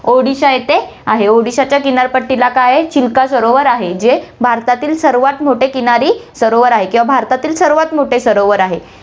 उडीसा येथे आहे, उडीसाच्या किनारपट्टीला काय आहे, चिल्का सरोवर आहे, जे भारतातील सर्वात मोठे किनारी सरोवर आहे किंवा भारतातील सर्वात मोठे सरोवर आहे.